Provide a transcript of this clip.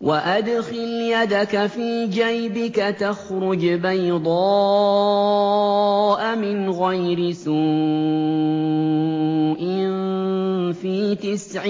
وَأَدْخِلْ يَدَكَ فِي جَيْبِكَ تَخْرُجْ بَيْضَاءَ مِنْ غَيْرِ سُوءٍ ۖ فِي تِسْعِ